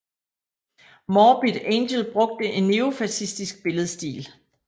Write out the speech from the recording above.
Morbid Angel brugte en neofascistisk billedstil